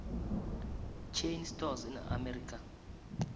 chain stores in america